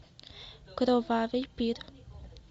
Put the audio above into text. кровавый пир